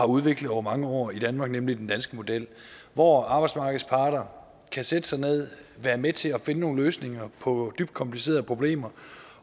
udviklet over mange år i danmark nemlig den danske model hvor arbejdsmarkedets parter kan sætte sig ned og være med til at finde nogle løsninger på dybt komplicerede problemer